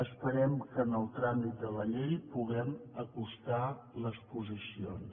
esperem que en el tràmit de la llei puguem acostar les posicions